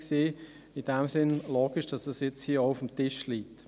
In diesem Sinn ist es logisch, dass es hier auch auf dem Tisch liegt.